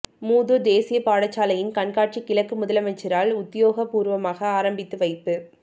மூதூர் தேசியப் பாடசாலையின் கண்காட்சி கிழக்கு முதலமைச்சரால் உத்தியோகபூர்வமாக ஆரம்பித்து வைப்பு